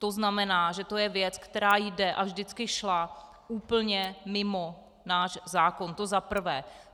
To znamená, že to je věc, která jde a vždycky šla úplně mimo náš zákon, to za prvé.